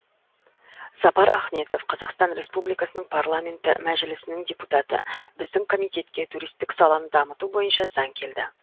сапар ахметов қазақстан республикасының парламенті мәжілісінің депутаты біздің комитетке туристік саланы дамыту бойынша заң келді